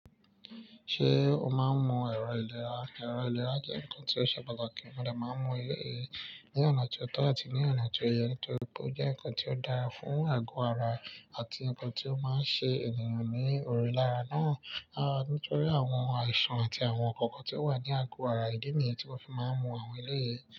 Ṣé o máa ń mu ẹ̀rọ ìlera? Ẹ̀rọ ìlera jẹ́ nǹkan tí ó ṣe pàtàkì, mo dẹ̀ máa ń mu ilé yìí ní ọ̀nà tí tọ́ àti ní ọ̀nà tí ó yẹ nítorí pé ó jẹ́ nǹkan tí ó dára fún àgọ́ ara àti nǹkan tí ó máa ń ṣe ènìyàn ní òrùlé ara náà. Nítorí àwọn àìsàn àti àwọn ǹkan kan tí ó wà ní àgọ́ ara, ìdí nìyí tí mo fi máa ń mu àwọn eléyìí.